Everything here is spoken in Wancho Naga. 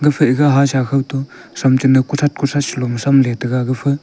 gufa iga hasa khawto tham cha naw kuthat kuthat sa lo tham le tega gafa--